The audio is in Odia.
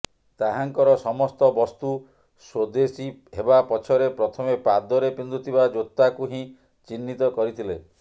ତାହାଙ୍କର ସମସ୍ତ ବସ୍ତୁ ସ୍ୱଦେଶୀ ହେବାପଛରେ ପ୍ରଥମେ ପାଦରେ ପିନ୍ଧୁଥିବା ଜୋତାକୁ ହିଁ ଚିହ୍ନିତ କରିଥିଲେ